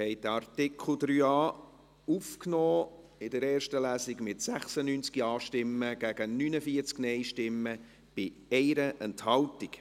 Sie haben den Artikel 3a in der ersten Lesung aufgenommen, mit 96 Ja- zu 49 NeinStimmen bei 1 Enthaltung.